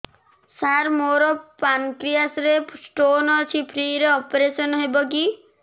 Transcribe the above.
ସାର ମୋର ପାନକ୍ରିଆସ ରେ ସ୍ଟୋନ ଅଛି ଫ୍ରି ରେ ଅପେରସନ ହେବ କି